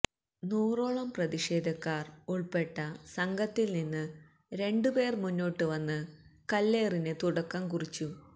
നൂറോളം പ്രതിഷേധക്കാര് ഉള്പ്പെട്ട സംഘത്തില്നിന്ന് രണ്ടുപേര് മുന്നോട്ടുവന്ന് കല്ലേറിന് തുടക്കം കുറിച്ചു